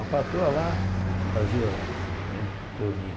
A patroa lá fazia né